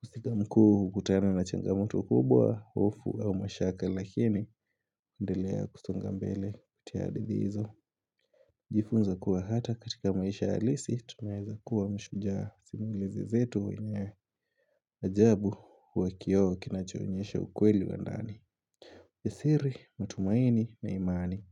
Kustika mkuu kutana na changamoto kubwa, hofu au mashaka Lakini endelea kusonga mbele kutia hadithi hizo Jifunze kuwa hata katika maisha alisi, tunaeza kuwa mshujaa simulizi zetu wenye ajabu kwa kio kinachoonyesha ukweli wa ndani Yasiri, matumaini na imani.